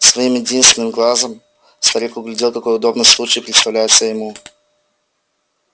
своим единственным глазом старик углядел какой удобный случай представляется ему